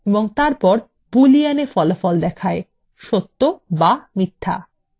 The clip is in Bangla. এবং তারপর booleanএ ফলাফল দেখায়সত্য বা মিথ্যা